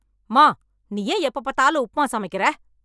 அம்மா நீ ஏன் எப்போ பாத்தாலும் உப்மா சமைக்கிற